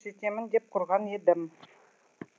көрсетемін деп құрған едім